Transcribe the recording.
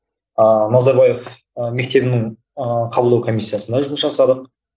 ыыы назарбаев ы мектебінің ыыы қабылдау комиссиясында жұмыс жасадық